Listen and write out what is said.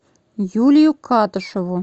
юлию катышеву